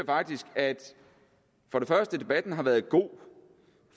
faktisk at den har været god